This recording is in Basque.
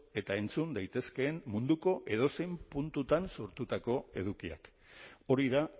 eta entzun daitezkeen munduko edozein puntutan sortutako edukiak hori da